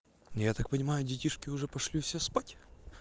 я так понимаю детишки уже пошли все спать